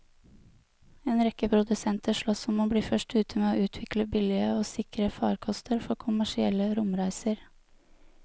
En rekke produsenter sloss om å bli først ute med å utvikle billige og sikre farkoster for kommersielle romreiser.